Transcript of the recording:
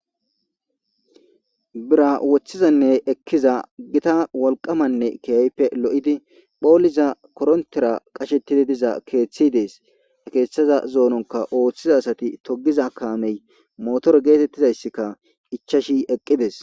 Bira woththizanne ekkiza gita wolqamanne kiyaype lo7idi phooliza korontera qashettidi diza keeththi dees keeththaza zoononka ooththiza asati togiza kaamey motor geetettizayssika ichashi eqqides.